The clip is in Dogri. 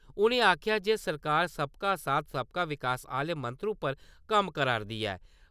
उ`नें आक्खेआ जे सरकार सबका साथ सबका विकास आह्‌ले मंत्र उप्पर कम्म करा करदी ऐ।